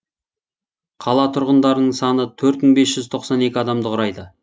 қала тұрғындарының саны төрт мың бес жүз тоқсан екі адамды құрайды